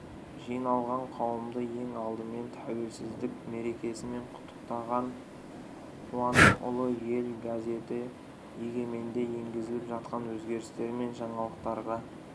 жиналған қауымды ең алдымен тәуелсіздік мерекесімен құттықтаған қуандықұлы ел газеті егеменде енгізіліп жатқан өзгерістер мен жаңалықтарға